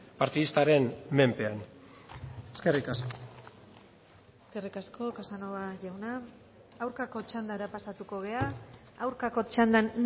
partidistaren menpean eskerrik asko eskerrik asko casanova jauna aurkako txandara pasatuko gara aurkako txandan